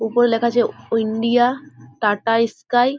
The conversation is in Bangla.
উপরে লেখা আছে ইন্ডিয়া টাটা স্কাই ।